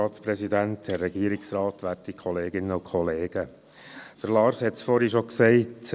Lars Guggisberg hat es vorhin schon gesagt.